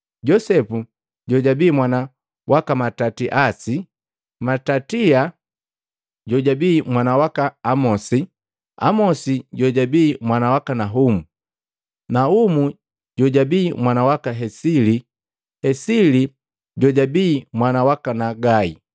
Josepu jojabi mwana waka Matatiasi, Matatia jojabii mwana waka Amosi, Amosi jojabii mwana waka Nahumu, Naumu jojabii mwana waka Hesili, Hesili jojabii mwana waka Nagai,